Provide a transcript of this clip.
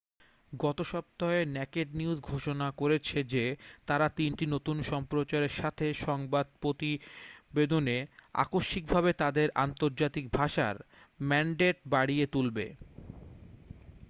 গত সপ্তাহে naked news ঘোষণা করেছে যে তারা তিনটি নতুন সম্প্রচারের সাথে সংবাদ প্রতিবেদনে আকস্মিকভাবে তাদের আন্তর্জাতিক ভাষার ম্যান্ডেট বাড়িয়ে তুলবে